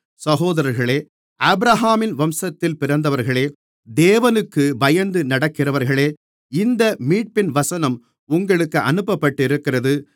சகோதரர்களே ஆபிரகாமின் வம்சத்தில் பிறந்தவர்களே தேவனுக்குப் பயந்து நடக்கிறவர்களே இந்த மீட்பின் வசனம் உங்களுக்கு அனுப்பப்பட்டிருக்கிறது